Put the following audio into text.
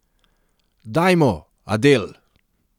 Dajmo, Adel.